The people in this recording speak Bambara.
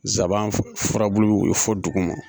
Nsaban furabulu o ye fɔ duguma.